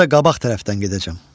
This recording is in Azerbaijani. Özü də qabaq tərəfdən gedəcəm.